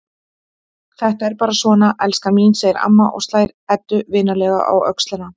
Þetta er bara svona, elskan mín, segir amma og slær Eddu vinalega á öxlina.